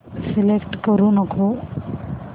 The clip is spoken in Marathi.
सिलेक्ट करू नको